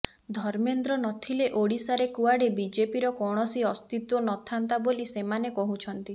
ଧର୍ମେନ୍ଦ୍ର ନଥିଲେ ଓଡ଼ିଶାରେ କୁଆଡ଼େ ବିଜେପିର କୌଣସି ଅସ୍ତିତ୍ୱ ନଥାନ୍ତା ବୋଲି ସେମାନେ କହୁଛନ୍ତି